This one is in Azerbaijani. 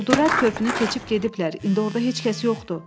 Quldurlar körpünü keçib gediblər, indi orda heç kəs yoxdur.